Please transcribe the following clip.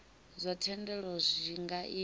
zwa thendelo zwi nga ita